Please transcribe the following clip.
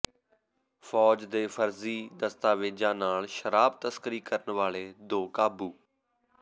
ਫ਼ੌਜ ਦੇ ਫਰਜ਼ੀ ਦਸਤਾਵੇਜ਼ਾਂ ਨਾਲ ਸ਼ਰਾਬ ਤਸਕਰੀ ਕਰਨ ਵਾਲੇ ਦੋ ਕਾਬੂ